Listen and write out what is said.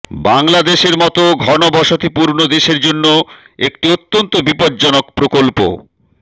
বাংলাদেশের মতো ঘনবসতিপূর্ণ দেশের জন্য একটি অত্যন্ত বিপজ্জনক প্রকল্প